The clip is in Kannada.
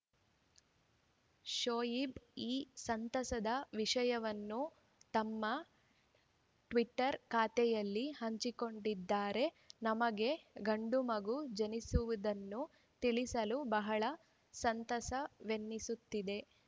ಶೋಯಿಬ್‌ ಈ ಸಂತಸದ ವಿಷಯವನ್ನು ತಮ್ಮ ಟ್ವೀಟರ್‌ ಖಾತೆಯಲ್ಲಿ ಹಂಚಿಕೊಂಡಿದ್ದಾರೆ ನಮಗೆ ಗಂಡು ಮಗು ಜನಿಸುವುದನ್ನು ತಿಳಿಸಲು ಬಹಳ ಸಂತಸವೆನಿಸುತ್ತಿದೆ